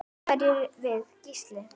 Hverjir erum við Gísli?